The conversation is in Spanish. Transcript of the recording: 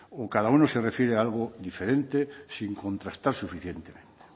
o cada uno se refiere a algo diferente sin contrastar suficientemente